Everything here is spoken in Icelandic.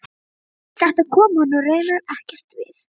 Þetta kom honum raunar ekkert við.